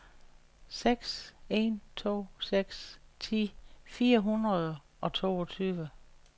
seks en to seks ti fire hundrede og toogtyve